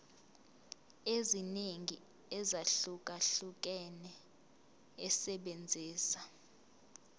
eziningi ezahlukahlukene esebenzisa